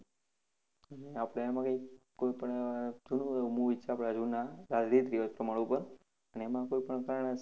આપણે એમાં કૈંક કોઈ પણ ઉહ થોડું એવું movie છે આપણાં જૂના રીત રિવાજ પ્રમાણ ઉપર અને એમાં કોઈ પણ કારણે